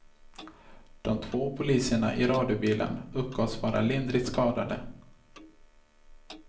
De två poliserna i radiobilen uppgavs vara lindrigt skadade.